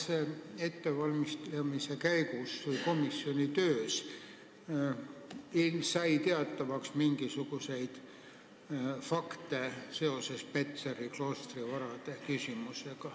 Kas eelnõu ettevalmistamise käigus sai komisjoni töös teatavaks mingisuguseid fakte seoses Petseri kloostri varadega?